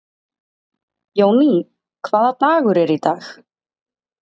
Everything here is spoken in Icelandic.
Jóný, hvaða dagur er í dag?